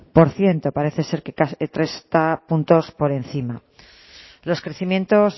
por ciento parece ser que puntos por encima los crecimientos